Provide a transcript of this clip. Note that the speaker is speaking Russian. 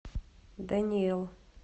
дэниэл